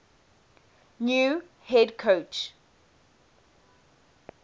new head coach